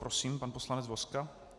Prosím, pan poslanec Vozka.